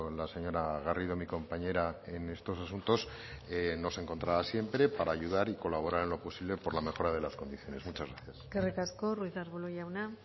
la señora garrido mi compañera en estos asuntos nos encontrará siempre para ayudar y colaborar en lo posible por la mejora de las condiciones muchas gracias eskerrik asko ruiz de arbulo jauna